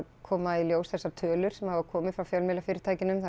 koma í ljós þessar tölur sem hafa komið frá fjölmiðlafyrirtækjunum þar